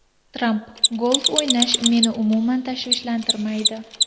Tramp: Golf o‘ynash meni umuman tashvishlantirmaydi.